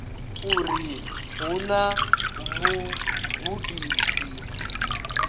uri hu vha na vhugudisi